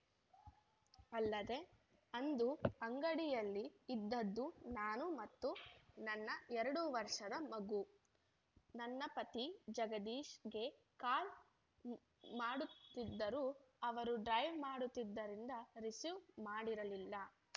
ಅಲ್ಲದೇ ಅಂದು ಅಂಗಡಿಯಲ್ಲಿ ಇದ್ದದ್ದು ನಾನು ಮತ್ತು ನನ್ನ ಎರಡು ವರ್ಷದ ಮಗು ನನ್ನ ಪತಿ ಜಗದೀಶ್‌ಗೆ ಕಾಲ್‌ ಮಾಡುತ್ತಿದ್ದರೂ ಅವರು ಡ್ರೈವ್‌ ಮಾಡುತ್ತಿದ್ದರಿಂದ ರಿಸೀವ್‌ ಮಾಡಿರಲಿಲ್ಲ